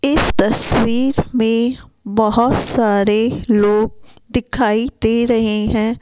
इस तस्वीर में बहोत सारे लोग दिखाई दे रहे है।